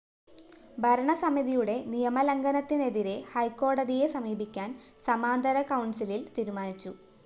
ഭരണ സമിതിയുടെ നിയമലംഘനത്തിനെതിരെ ഹൈക്കോടതിയെ സമീപിക്കാന്‍ സമാന്തര കൗണ്‍സിലില്‍ തീരുമാനിച്ചു